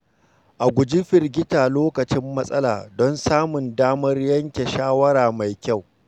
A guji firgita lokacin matsala don samun damar yanke shawara mai kyau.